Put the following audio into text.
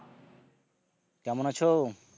কেমন আছো?